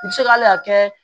U bɛ se k'ale hakɛ